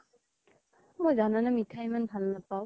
মই জানা নে মিঠা ইমান ভাল নাপাও